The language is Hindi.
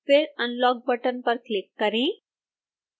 फिर unlock बटन पर क्लिक करें